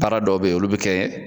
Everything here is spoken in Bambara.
Baara dɔw bɛ ye olu bɛ kɛ